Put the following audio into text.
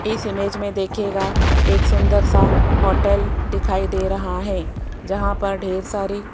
इस इमेज में देखिएगा एक सुंदर सा होटल दिखाई दे रहा है जहां पर ढेर सारी --